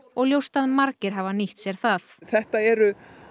og ljóst að margir hafa nýtt sér það þetta eru